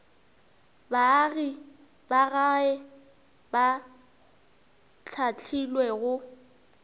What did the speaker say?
baagi ba gae ba hlahlilwego